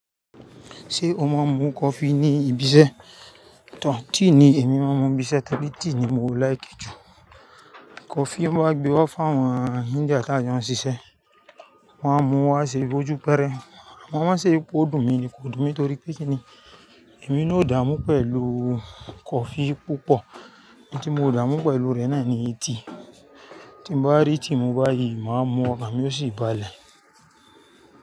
Ṣé o má a ń mú coffee ní ibi iṣẹ́? Tíì ni èmi má a ń mú ibi iṣẹ́ torí tíì ni mo láìki jù. Coffee wọn maa n gbé wá fá àwọn Indian tá jọ ṣiṣẹ́, wọ́n á mú wá ṣe ojú pẹrẹ. Wọ́n máa ṣe pé ó dùn mi ni kò dùn mi torí pé kí ni èmi náà ó dààmú pẹ̀lú coffee púpọ̀, èyí tí mo dààmú pẹ̀lú rẹ̀ náà ni eti. Tí bá rí tíì mu báyìí, mà á mú ọkàn mi ó sì balẹ̀.